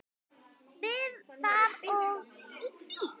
Við það og í því.